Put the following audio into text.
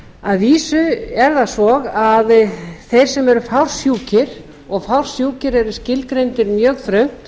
að vísu er það svo að þeir sem eru fársjúkir og fársjúkir eru skilgreindir mjög þröngt